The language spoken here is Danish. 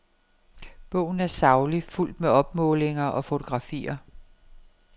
Bogen er saglig, fuldt med opmålinger og fotografier.